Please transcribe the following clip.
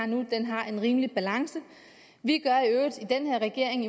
nu har en rimelig balance i den her regering